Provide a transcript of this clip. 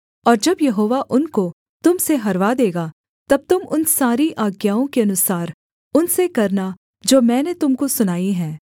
और जब यहोवा उनको तुम से हरवा देगा तब तुम उन सारी आज्ञाओं के अनुसार उनसे करना जो मैंने तुम को सुनाई हैं